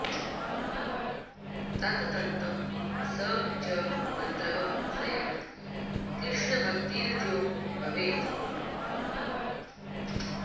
तत् तन्तं स च मन्त्रः स्यात् कृष्णभक्तिर्यतो भवेत्